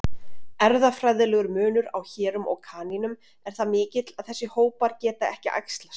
Erfðafræðilegur munur á hérum og kanínum er það mikill að þessir hópar geta ekki æxlast.